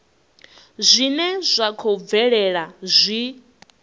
zwine zwa khou bvelela zwi